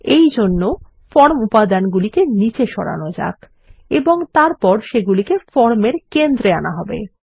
এই জন্য ফর্ম উপাদানগুলিকে নিচে সরানো যাক এবং তারপর সেগুলি ফর্ম এর কেন্দ্রে আনা যাক